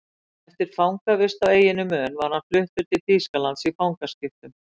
Eftir fangavist á eyjunni Mön var hann fluttur til Þýskalands í fangaskiptum.